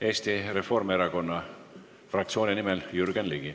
Eesti Reformierakonna fraktsiooni nimel Jürgen Ligi.